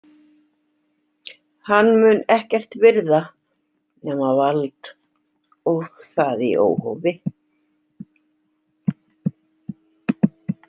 Hann mun ekkert virða nema vald og það í óhófi.